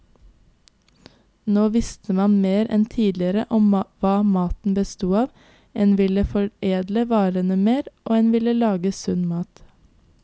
Nå visste man mer enn tidligere om hva maten bestod av, en ville foredle varene mer, og en ville lage sunn mat.